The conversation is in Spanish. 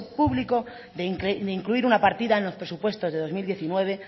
público de incluir una partida en los presupuestos del dos mil diecinueve